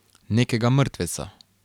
Nekega mrtveca.